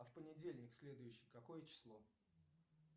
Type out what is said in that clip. а в понедельник следующий какое число